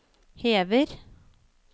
hever